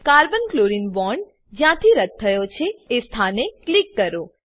carbon chlorine bond જ્યાંથી રદ્દ થયો છે એ સ્થાને ક્લિક કરો